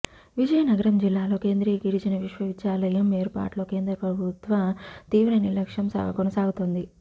విజయనగరం జిల్లాలో కేంద్రియ గిరిజన విశ్వవిద్యాలయం ఏర్పాటులో కేంద్ర ప్రభుత్వ తీవ్ర నిర్లక్ష్యం కొనసాగుతోంది